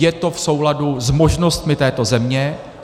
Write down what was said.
Je to v souladu s možnostmi této země.